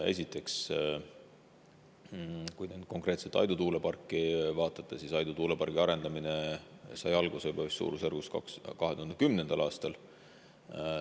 Esiteks, kui te nüüd konkreetselt Aidu tuuleparki vaatate, siis Aidu tuulepargi arendamine sai alguse juba vist 2010. aastal.